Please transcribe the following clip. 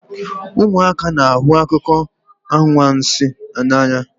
Ụmụaka na-ahụ akụkọ anwansi n'anya